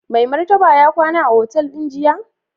Mai Martaba ya kwana a otal din jiya?